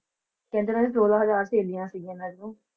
ਕਹਿੰਦੇ ਨੇ ਸੋਲਾਂਹ ਹਜਾਰ ਸਹੇਲੀਆਂ ਸੀਗਿਆਂ ਇਹਨਾਂ ਦੀਆਂ।